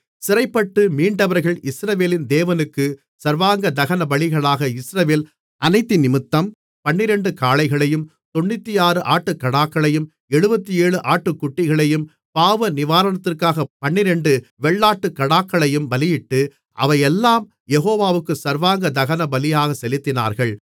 சிறைப்பட்டு மீண்டவர்கள் இஸ்ரவேலின் தேவனுக்குச் சர்வாங்க தகனபலிகளாக இஸ்ரவேல் அனைத்தினிமித்தம் 12 காளைகளையும் 96 ஆட்டுக்கடாக்களையும் 77 ஆட்டுக்குட்டிகளையும் பாவநிவாரணத்துக்காகப் 12 வெள்ளாட்டுக்கடாக்களையும் பலியிட்டு அவையெல்லாம் யெகோவாவுக்கு சர்வாங்கதகனபலியாகச் செலுத்தினார்கள்